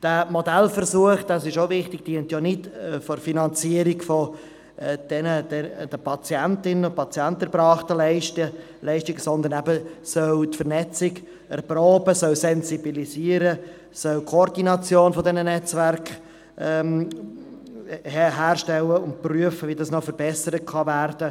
Der Modellversuch dient nicht der Finanzierung der an Patientinnen und Patienten erbrachten Leistungen, sondern er soll die Vernetzung erproben, er soll sensibilisieren, er soll die Koordination dieser Netzwerke herstellen und er soll prüfen, wie es noch verbessert werden könnte.